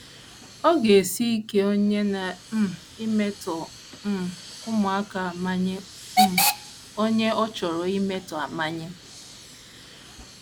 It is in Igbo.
Ọ ga - esi ike onye na - um emetọ um ụmụaka amanye um onye ọ chọrọ imetọ amanye.